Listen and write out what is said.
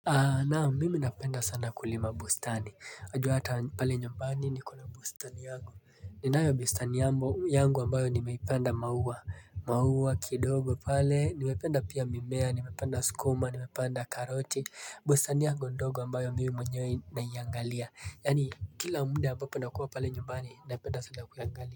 Naam mimi napenda sana kulima bustani wajua hata pale nyumbani niko na bustani yangu ninayo bustani yangu ambayo nimepanda mauwa, mauwa kidogo pale, nimepanda pia mimea, nimepanda sukuma, nimepanda karoti bustani yangu ndogo ambayo mimi mwenyewe naiangalia, yaani kila muda ambapo nakuwa pale nyumbani napenda sana kuiangalia.